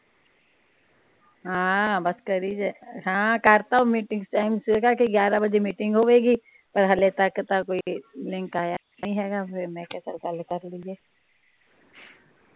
ਹਾਂ ਬਸ ਕਰੀ ਹਾਂ ਕਰਤਾ ਉਹ ਮੀਟਿੰਗ ਸੁਬਹ ਕੇ ਗਿਆਰਾਂ ਬਜੇ ਮੀਟਿੰਗ ਹੋਏਗੀ। ਪਰ ਹਲੇ ਤਕ ਤਾ ਕੋਈ ਲਿੰਕ ਆਇਆ ਨੀ ਹੇਗਾ ਫਿਰ ਮੈ ਕਿਹਾ ਚਲ ਗੱਲ ਕਰਲੀਏ।